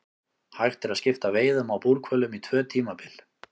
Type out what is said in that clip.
Hægt er að skipta veiðum á búrhvölum í tvö tímabil.